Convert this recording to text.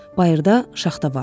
Bayırda şaxta vardı.